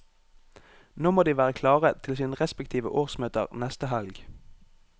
Nå må de være klare til sine respektive årsmøter neste helg.